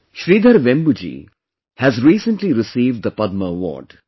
Sridhar Vembu ji has recently received the Padma Award